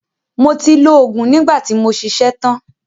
Mo ti lo òògùn nígbà tí mo ṣiṣẹ́ tan.